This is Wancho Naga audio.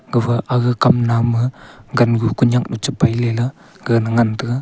gafa aga kam nam ma gangu khunyak nu chipai ley la gaga na ngan taga.